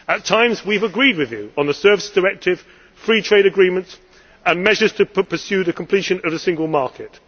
At times we have agreed with you on the Services Directive, free trade agreements and measures to pursue the completion of the Single Market.